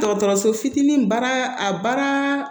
Dɔgɔtɔrɔso fitinin baara a baara